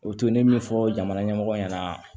O to ne min fɔ jamana ɲɛmɔgɔ ɲɛna